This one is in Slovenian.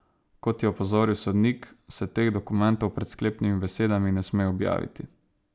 Kot je opozoril sodnik, se teh dokumentov pred sklepnimi besedami ne sme objaviti.